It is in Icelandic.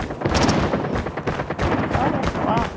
En hvað er þá að?